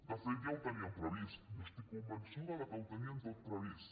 de fet ja ho tenien previst jo estic convençuda que ho tenien tot previst